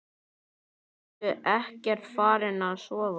Ertu ekkert farin að sofa!